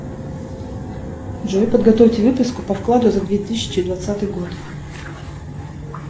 джой подготовьте выписку по вкладу за две тысячи двадцатый год